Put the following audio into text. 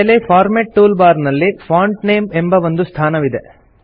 ಮೇಲೆ format tool bar ನಲ್ಲಿ font name ಎಂಬ ಒಂದು ಸ್ಥಾನವಿದೆ